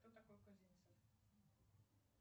кто такой казимцев